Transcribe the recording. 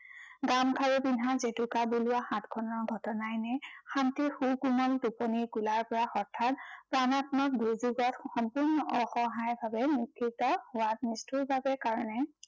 গামখাৰু পিন্ধা, জেতুকা বুলোৱা হাতখনৰ ঘটনাই নে, শান্তিৰ সুকোমল টোপনিৰ কোলাৰ পৰা হঠাত প্ৰাণাত্মক দুৰ্যোগত সম্পূৰ্ণ অসহায় ভাৱে মুৰ্চিত হোৱা নিষ্ঠুৰতাৰ কাৰনে